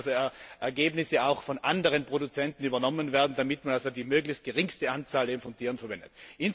Hier müssen Ergebnisse auch von anderen Produzenten übernommen werden, damit man die möglichst geringste Anzahl von Tieren verwendet.